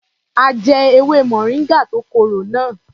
A jẹ ewé moringa tó korò náà.